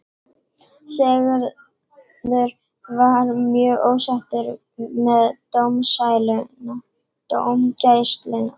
Sigurður var mjög ósáttur með dómgæsluna.